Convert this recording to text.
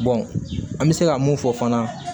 an bɛ se ka mun fɔ fana